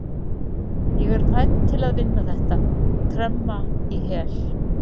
Ég er fædd til að vinna þetta, tremma í hel.